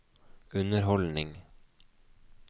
underholdning